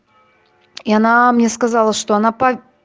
и она мне сказала что она по